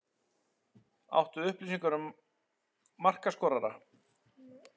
Áttu upplýsingar um markaskorara?